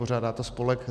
Pořádá to spolek